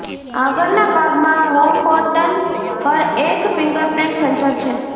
આગળના ભાગમાં home button પર એક ફિંગરપ્રિંટ સેન્સર છે